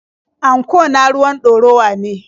Anko na ruwan ɗorawa ne.